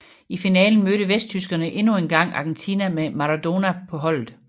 I finalen mødte vesttyskerne endnu engang Argentina med Maradona på holdet